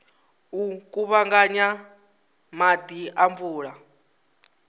u kuvhanganya maḓi a mvula